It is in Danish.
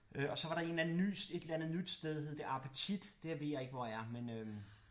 Øh og så var der en eller anden ny et eller andet nyt sted hed det Appetit det ved jeg ikke hvor er men øh